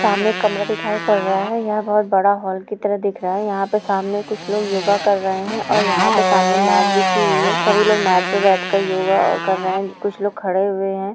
सामने कमरा दिखाई पड़ रहा है यह बहोत बड़ा हॉल की तरह दिख रहा है यहाँ पे सामने कुछ लोग योगा कर रहे है और यहाँ पर सामने मेट बिछा हुई है सभी लोग मेट पे बेठ कर योगा कर रहे है कुछ लोग खडे हुए है।